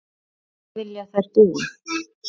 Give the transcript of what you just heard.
Hvar vilja þær búa?